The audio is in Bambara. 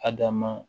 A da ma